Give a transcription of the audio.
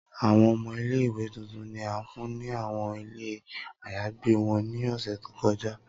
Awọn ọmọ ile-iwe tuntun ni a fun ni awọn ilé àyágbe wọn ni ọsẹ to kọja.